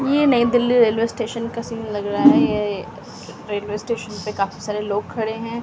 ये Nai Delhi railway station का scene लग रहा है ये रेलवे स्टेशन पे काफी सारे लोग खड़े हैं ।